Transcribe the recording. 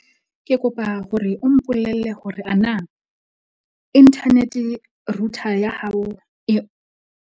Ke kopa hore o mpolelle hore ana internet-e router ya hao e.